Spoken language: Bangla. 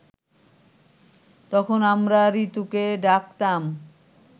তখন আমরা ঋতুকে ডাকতাম